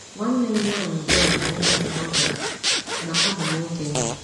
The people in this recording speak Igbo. Nwanne m nwanyị Joy bụ nwa nke ọdụdụ, ma abụ m okenye.